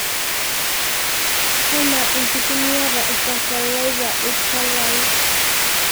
anaa enkitumiata e e fertilizer, ilchalai